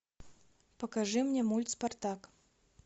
покажи мне мульт спартак